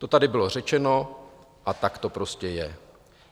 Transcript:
To tady bylo řečeno a tak to prostě je.